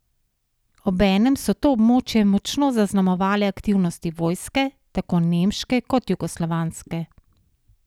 Obenem so to območje močno zaznamovale aktivnosti vojske, tako nemške kot jugoslovanske.